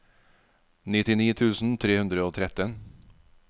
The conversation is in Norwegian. nittini tusen tre hundre og tretten